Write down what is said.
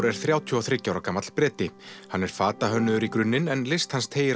er þrjátíu og þriggja ára gamall Breti hann er fatahönnuður í grunninn en list hans teygir